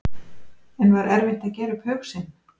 En var erfitt að gera upp hug sinn?